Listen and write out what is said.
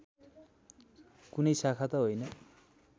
कुनै शाखा त होइन